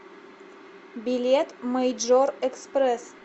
билет мэйджор экспресс